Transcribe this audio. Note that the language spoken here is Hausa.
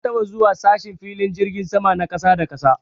Na taɓa zuwa sashen filin jirgin sama na ƙasa da ƙasa.